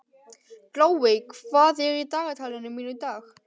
Glóey, hvað er í dagatalinu mínu í dag?